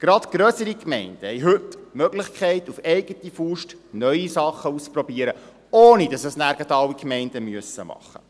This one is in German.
Gerade grössere Gemeinden haben heute die Möglichkeit, auf eigene Faust neue Dinge auszuprobieren, ohne dass es dann gleich alle Gemeinden tun müssen.